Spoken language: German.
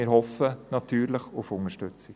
Wir hoffen natürlich auf Unterstützung.